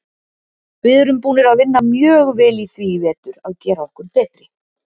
Við erum búnir að vinna mjög vel í því í vetur að gera okkur betri.